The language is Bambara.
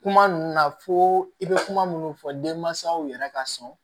Kuma ninnu na fo i bɛ kuma minnu fɔ denmansaw yɛrɛ ka sɔn